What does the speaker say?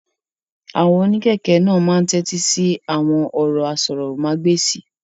Àwọn onikẹ̀kẹ́ naa máa ni t'ẹti sí awọn ọrọ àsòrọmagbesi.